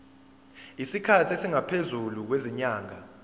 isikhathi esingaphezulu kwezinyanga